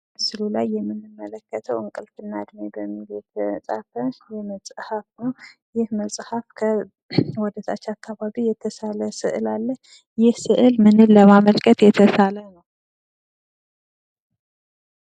በምስሉ ላይ የምንመለከተው እንቅልፍ እና እድሜ በሚል ርዕስ የተጻፈ መጽሐፍ ነው። ይህ መጽሐፍ ወደታች አካባቢ የተሳለ ስዕል አለ። ይህ ስዕል ለማመልከት የተሳለ ነው?